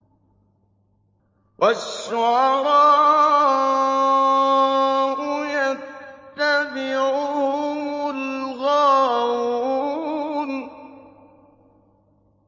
وَالشُّعَرَاءُ يَتَّبِعُهُمُ الْغَاوُونَ